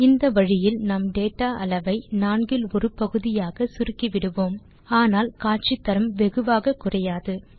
இந்த வழியில் நாம் டேட்டா அளவை நான்கில் ஒரு பகுதியாக சுருக்கிவிடுவோம் ஆனால் காட்சி தரம் வெகுவாக குறையாது